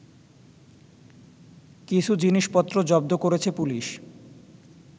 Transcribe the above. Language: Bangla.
কিছু জিনিসপত্র জব্দ করেছে পুলিশ